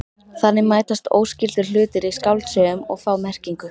Þannig mætast óskyldir hlutir í skáldsögum og fá merkingu.